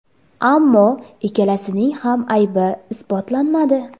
Ammo ikkalasining ham aybi isbotlanmadi.